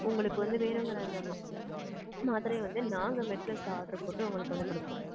உங்களுக்கு வந்து வேணுங்கற அந்த மா~ மாத்திரைய வந்து நாங்க metplus ல order போட்டு உங்களுக்கு வந்து குடுப்போம்.